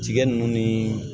Tigɛ nunnu ni